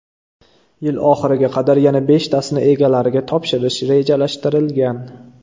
Yil oxiriga qadar yana beshtasini egalariga topshirish rejalashtirilgan.